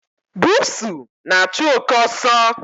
Bụsu na-achụ oké ọsọ.